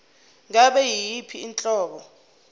ngabe yiyiphi inhlobo